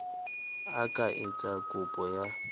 a ka etsa kopo ya